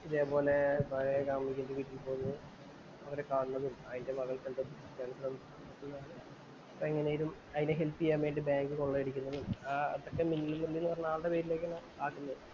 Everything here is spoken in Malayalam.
ഇതേപോലെ പഴയ കാമുകിയുടെ വീട്ടിൽ പോണതും, അതിനെ കാണുന്നതും എങ്ങനേലും അതിനെ അതിനെ ഹെൽപ്പ് ചെയ്യാൻ വേണ്ടി ബാങ്ക് കൊള്ളയടിക്കുന്നതും, ആ മറ്റേ മിന്നൽ എന്ന ആളുടെ പേരിലേക്ക് മാറ്റുന്നതും